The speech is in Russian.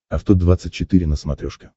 авто двадцать четыре на смотрешке